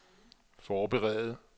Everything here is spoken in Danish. forberede